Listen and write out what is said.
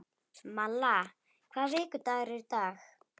Malla, hvaða vikudagur er í dag?